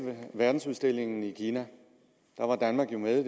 verdensudstillingen i kina der var danmark jo med